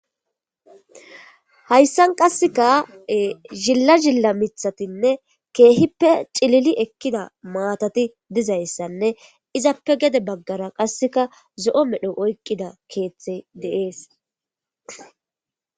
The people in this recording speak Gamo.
hayssan qasseka zilla zilla mithatinne keehippe cilili ekkida maatati dizayssanne izappe gede baggara qasseka zo7o medho oykqida keeththey deees